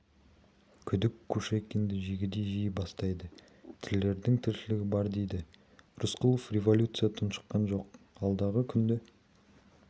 күдік кушекинді жегідей жей бастайды тірілердің тіршілігі бар дейді рысқұлов революция тұншыққан жоқ алдағы күнді